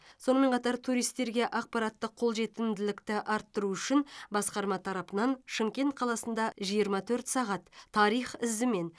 сонымен қатар туристерге ақпараттық қолжетімділікті арттыру үшін басқарма тарапынан шымкент қаласында жиырма төрт сағат тарих ізімен